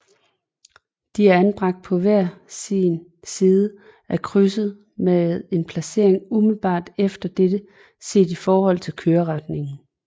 De er anbragt på hver sin side af krydset med en placering umiddelbart efter dette set i forhold til køreretningen